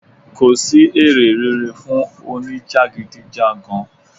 Kò sì èrè rere fún òní jagidijagan.